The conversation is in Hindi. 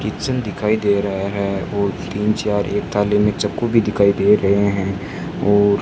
किचन दिखाई दे रहा है वह तीन चार एक थाली में चक्कू भी दिखाई दे रहे हैं और--